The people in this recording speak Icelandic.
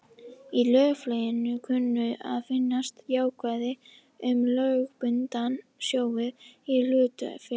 Í löggjöfinni kunna að finnast ákvæði um lögbundna sjóði í hlutafélögum.